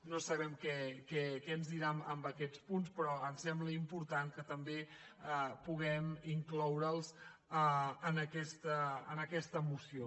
no sabem què ens dirà en aquests punts però ens sembla important que també puguem incloure’ls en aquesta moció